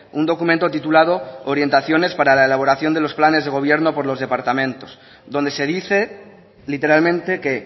un documento titulado orientaciones para la elaboración de los planes de gobierno por los departamentos donde se dice literalmente que